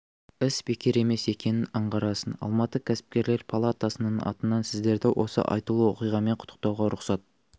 іс бекер емес екенін аңғарасың алматы кәсіпкерлер палатасының атынан сіздерді осы айтулы оқиғамен құттықтауға рұқсат